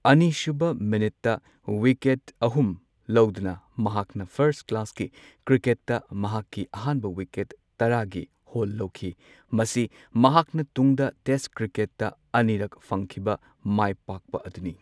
ꯑꯅꯤꯁꯨꯕ ꯃꯤꯅꯠꯇ ꯋꯤꯀꯦꯠ ꯑꯍꯨꯝ ꯂꯧꯗꯨꯅ ꯃꯍꯥꯛꯅ ꯐꯥꯔꯁ ꯀ꯭ꯂꯥꯁꯀꯤ ꯀ꯭ꯔꯤꯀꯦꯠꯇ ꯃꯍꯥꯛꯀꯤ ꯑꯍꯥꯟꯕ ꯋꯤꯀꯦꯠ ꯇꯔꯥꯒꯤ ꯍꯣꯜ ꯂꯧꯈꯤ꯫ ꯃꯁꯤ ꯃꯍꯥꯛꯅ ꯇꯨꯡꯗ ꯇꯦꯁ ꯀ꯭ꯔꯤꯀꯦꯠꯇ ꯑꯅꯤꯔꯛ ꯐꯪꯈꯤꯕ ꯃꯥꯏꯄꯥꯛꯄ ꯑꯗꯨꯅꯤ꯫